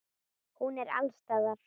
Hún er alls staðar.